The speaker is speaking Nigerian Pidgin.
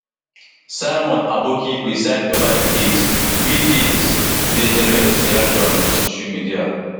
simon aboki preside ova di case we case we dey generate reactions for social media